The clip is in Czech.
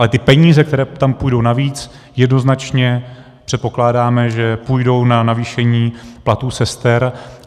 Ale ty peníze, které tam půjdou navíc, jednoznačně předpokládáme, že půjdou na navýšení platů sester.